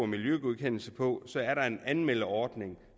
miljøgodkendelse på så er der en anmeldeordning og